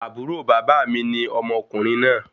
Àbúrò bàbá mi ni ọmọkùnrin náà